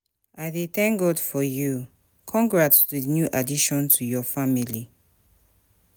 I dey thank God for you, congrats for di new addition to your family.